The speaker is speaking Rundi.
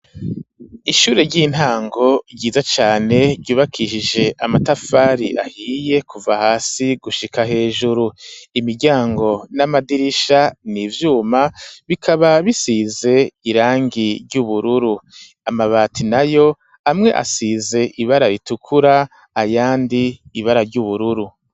Ishure ry'intango ryiza cane ryubakishije amatafari ahiye kuva hasi gushika hejuru, imiryango n'amadirisha nivyuma bikaba bisize irangi ry'ubururu amabati nayo amwe asize ibara ritukura ayandi ibara ry'ubururu.